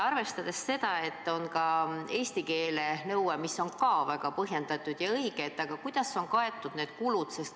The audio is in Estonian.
Arvestades seda, et on ka eesti keele nõue, mis on väga põhjendatud ja õige, siis kuidas on kaetud need kulud?